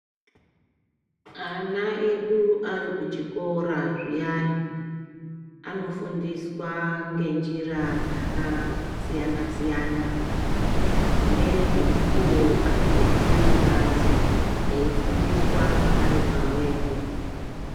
Ana edu arikuchikora zviyani anofundiswa ngenjira dzakasiyana siyana dzimweni dzemukuwo anobudiswe kubanze eifundiswa aripamwepo.